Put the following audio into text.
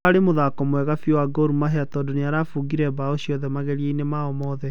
Ũrarĩ mũthako mwega biũ wa Gor mahai tondũ nĩirabũngire mbao ciothe mangeria-inĩ mao monthe.